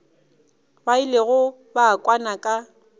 ba ilego ba kwana ka